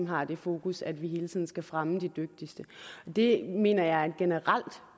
har det fokus at vi hele tiden skal fremme de dygtigste det mener jeg er et generelt